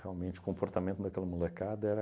Realmente o comportamento daquela molecada era...